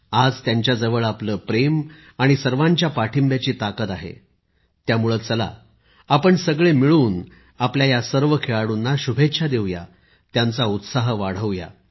आज त्यांच्याजवळ आपले प्रेम आणि सर्वांच्या पाठिंब्याची ताकद आहे त्यामुळे चला आपण सगळे मिळून आपल्या या सर्व खेळाडूंना शुभेच्छा देऊया त्यांचा उत्साह वाढवूया